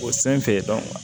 O sen fɛ